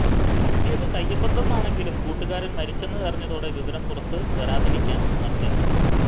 പറ്റിയത് കൈയബദ്ധം ആണെങ്കിലും കൂട്ടുകാരൻ മരിച്ചെന്ന് അറിഞ്ഞതോടെ വിവരം പുറത്തു വരാതിരിക്കാൻ മറ്